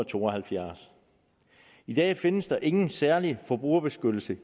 to og halvfjerds i dag findes der ingen særlig forbrugerbeskyttelse